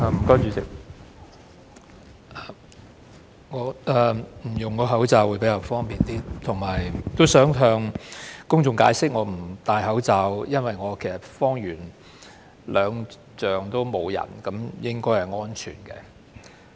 代理主席，我不戴口罩發言會比較方便，而且想向公眾解釋，我不佩戴口罩是因為我方圓兩丈也沒有人，應該是安全的。